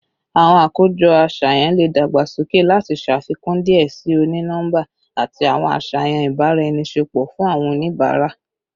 Awọn akojọ aṣayan le dagbasoke lati ṣafikun diẹ sii oni-nọmba ati awọn aṣayan ibaraenisepo fun awọn oniabara